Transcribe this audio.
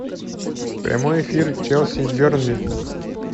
прямой эфир челси и бернли